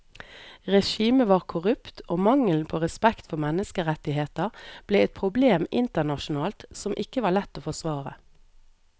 Regimet var korrupt og mangelen på respekt for menneskerettigheter ble et problem internasjonalt som ikke var lett å forsvare.